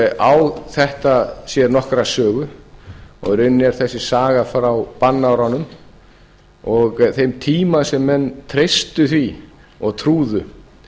þetta á sér nokkra sögu og í rauninni er þessi saga frá bannárunum og þeim tíma sem menn treystu því og trúðu